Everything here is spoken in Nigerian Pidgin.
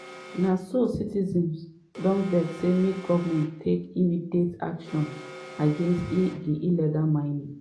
na so citizens don vex say make goment take immediate action against di illegal mining.